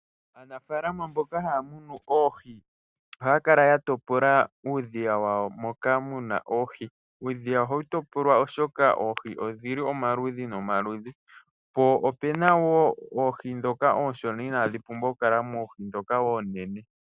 Aanafalama mboka haya munu oohi, ohaya kala ya topola uudhiya wawo moka muna oohi. Uudhiya ohawu topolwa oshoka oohi odhili omaludhi nomaludhi, po opena wo oohi dhoka ooshona inadhi pumbwa oku kala moohi dhoka oonene.